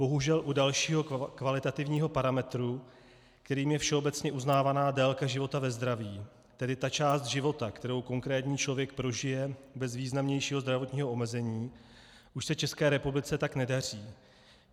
Bohužel u dalšího kvalitativního parametru, kterým je všeobecně uznávaná délka života ve zdraví, tedy ta část života, kterou konkrétní člověk prožije bez významnějšího zdravotního omezení, už se České republice tak nedaří.